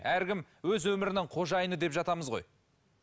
әркім өз өмірінің қожайыны деп жатамыз ғой